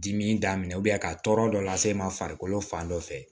Dimi daminɛ ka tɔɔrɔ dɔ lase e ma farikolo fan dɔ fɛ